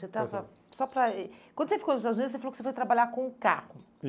Você estava, só para eh, Quando você ficou nos Estados Unidos, você falou que foi trabalhar com o carro.